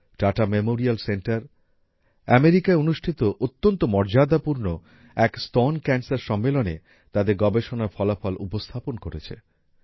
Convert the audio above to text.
tata memorial centre আমেরিকায় অনুষ্ঠিত অত্যন্ত মর্যাদাপূর্ণ এক স্তন ক্যান্সার সম্মেলনে তাদের গবেষণার ফলাফল উপস্থাপন করেছে